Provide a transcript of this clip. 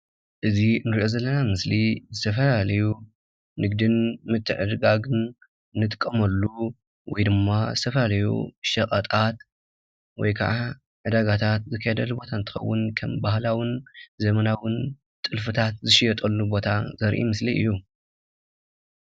እዚ እንሪኦ ዘለና ምስሊ ዝተፈላለዩ ንግድን ምትዕድዳግን ንጥቀመሉ ወይ ድማ ዝተፈላለዩ ሸቐጣት ወይ ክዓ ዕዳጋታት ዝካየደሉ ቦታ እንትኸዉን ከም ባህላዉን ዘመናዉን ጥልፍታት ዝሽየጠሉ ቦታ ዘርኢ ምስሊ እዩ።